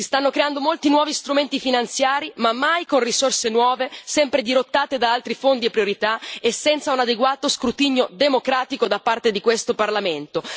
Si stanno creando molti nuovi strumenti finanziari, ma mai con risorse nuove, sempre dirottate da altri fondi e priorità, e senza un adeguato scrutinio democratico da parte di questo Parlamento.